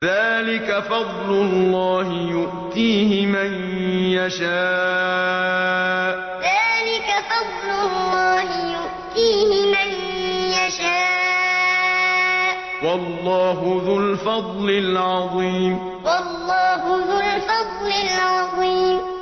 ذَٰلِكَ فَضْلُ اللَّهِ يُؤْتِيهِ مَن يَشَاءُ ۚ وَاللَّهُ ذُو الْفَضْلِ الْعَظِيمِ ذَٰلِكَ فَضْلُ اللَّهِ يُؤْتِيهِ مَن يَشَاءُ ۚ وَاللَّهُ ذُو الْفَضْلِ الْعَظِيمِ